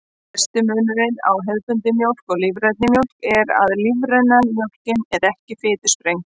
Stærsti munurinn á hefðbundinni mjólk og lífrænni mjólk er að lífræna mjólkin er ekki fitusprengd.